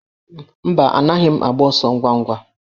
Mba, anaghị m agba ọsọ ngwa ngwa